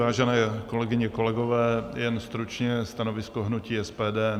Vážené kolegyně, kolegové, jen stručně stanovisko hnutí SPD.